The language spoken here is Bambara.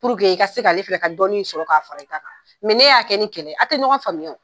i ka se k'ale fɛnɛ ka dɔnin sɔrɔ k'a fara i ta kan, ne y'a kɛ ni kɛlɛ ye, a te ɲɔgɔn faamuya